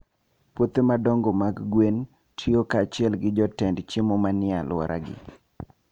Puothe madongo mag gwen tiyo kanyachiel gi joted chiemo manie alworagi.